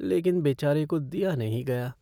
लेकिन बेचारे को दिया नहीं गया।